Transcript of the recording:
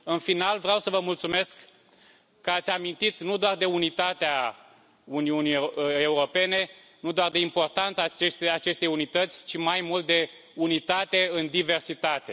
În final, vreau să vă mulțumesc că ați amintit nu doar de unitatea Uniunii Europene, nu doar de importanța acestei unități, ci mai mult, de unitate în diversitate.